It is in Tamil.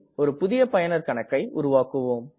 ஒரு புதிய பயனர் கணக்கை உருவாக்குவோம்